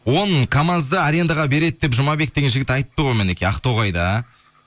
он камазды арендаға береді деп жұмабек деген жігіт айтты ғой мінекей ақтоғайда